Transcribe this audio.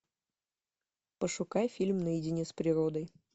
пошукай фильм наедине с природой